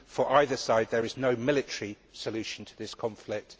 For either side there is no military solution to this conflict.